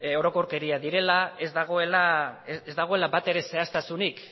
orokorkeriak direla ez dagoela batere zehaztasunik